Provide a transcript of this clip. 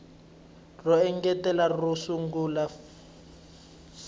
ro engetela ro sungula fal